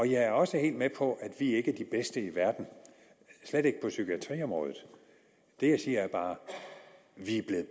jeg er også helt med på at vi ikke er de bedste i verden slet ikke på psykiatriområdet det jeg siger er bare vi